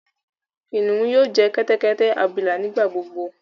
Kiniun yoo jẹ kẹtẹkẹtẹ abila nigbagbogbo.